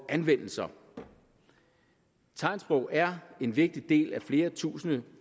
ordanvendelser tegnsprog er en vigtig del af flere tusinde